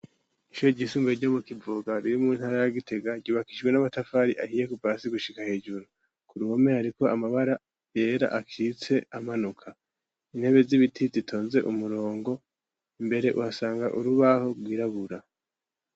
Ishure ryisumbuye ryo mu kivoga ririmu ntara ya Gitega ryubakijwe n'amatafari ahiye kuva hasi gushika hejuru ku ruhome hariko amabara yera akitse amanuka, intebe z'ibiti zitonze umurongo mbere uhasanga urubaho rwirabura.